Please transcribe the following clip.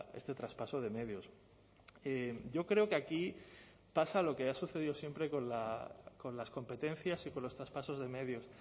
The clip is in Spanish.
este traspaso de medios yo creo que aquí pasa lo que ha sucedido siempre con las competencias y con los traspasos de medios